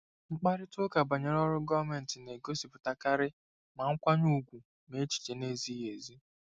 Mkparịta ụka banyere ọrụ gọọmentị na-egosipụtakarị ma nkwanye ùgwù ma echiche na-ezighị ezi.